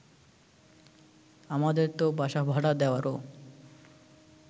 আমাদের তো বাসা ভাড়া দেওয়ারও